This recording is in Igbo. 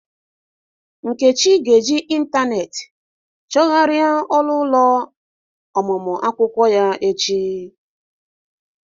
Nkechi ga-eji ịntanetị chọgharịa ọrụ ya n'echi.